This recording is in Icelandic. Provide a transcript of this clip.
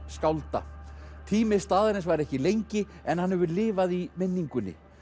skálda tími staðarins var ekki lengi en hann hefur lifað í minningunni